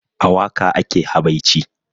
A waƙa ake habaici